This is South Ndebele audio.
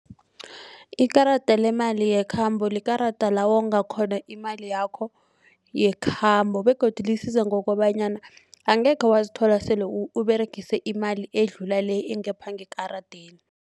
Ikarada lemali yekhambo likarada lawonga khona imali yakho yekhambo begodu lisiza ngokobanyana angekhe wazithola sele uberegise imali edlula le engapha ngekaradeni.